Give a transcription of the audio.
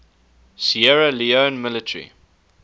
sierra leone military